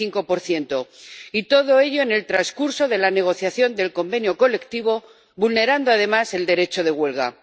35 Y todo ello en el transcurso de la negociación del convenio colectivo, vulnerando además el derecho de huelga.